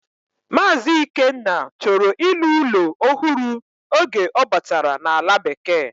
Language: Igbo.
Mazi Ikenna choro ilu ulo ohuru oge obatara na ala bekee.